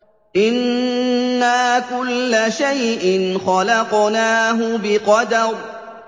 إِنَّا كُلَّ شَيْءٍ خَلَقْنَاهُ بِقَدَرٍ